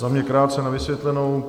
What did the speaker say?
Za mě krátce na vysvětlenou.